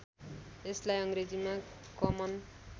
यसलाई अङ्ग्रेजीमा कमन